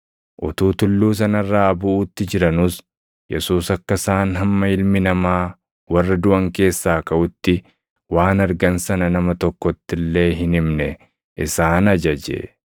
Utuu tulluu sana irraa buʼuutti jiranuus Yesuus akka isaan hamma Ilmi Namaa warra duʼan keessaa kaʼutti waan argan sana nama tokkotti illee hin himne isaan ajaje.